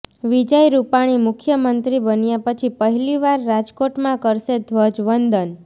વિજય રૂપાણી મુખ્યમંત્રી બન્યા પછી પહેલી વાર રાજકોટમાં કરશે ધ્વજવંદન